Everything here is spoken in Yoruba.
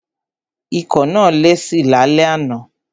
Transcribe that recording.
Ikọ́ náà lesi lálẹ́ àná.